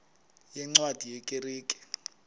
yeencwadi ye kerk